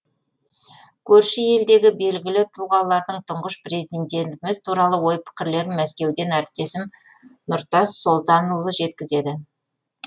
көрші елдегі белгілі тұлғалардың тұңғыш президентіміз туралы ой пікірлерін мәскеуден әріптесім нұртас солтанұлы жеткізеді